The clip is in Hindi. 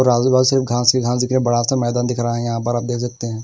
और आदिवासी सिर्फ घास ही घास दिख रहे है बड़ा सा मैदान दिख रहा हैं यहां पर आप देख सकते है।